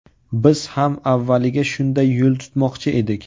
Biz ham avvaliga shunday yo‘l tutmoqchi edik.